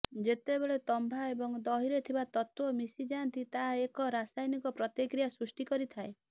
ଯେତେବେଳେ ତମ୍ବା ଏବଂ ଦହିରେ ଥିବା ତତ୍ୱ ମିଶି ଯାଆନ୍ତି ତାହା ଏକ ରାସାୟନିକ ପ୍ରତିକ୍ରିୟା ସୃଷ୍ଟି କରିଥାଏ